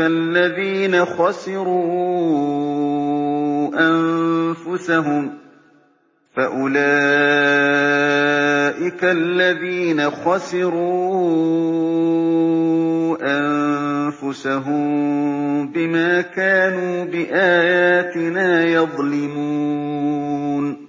الَّذِينَ خَسِرُوا أَنفُسَهُم بِمَا كَانُوا بِآيَاتِنَا يَظْلِمُونَ